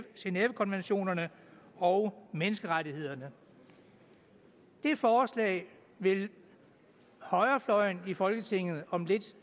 genèvekonventionerne og menneskerettighederne det forslag vil højrefløjen i folketinget om lidt